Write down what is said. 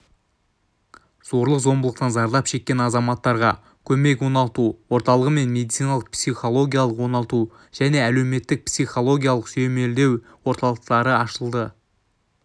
зорлық-зомбылықтан зардап шеккен азаматтарға көмек оңалту орталығы мен медициналық-психологиялық оңалту және әлеуметтік-психологиялық сүйемелдеу орталықтары ашылды